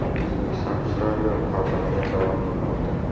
O‘zbekiston ishtirokida muhokamalar davom etmoqda.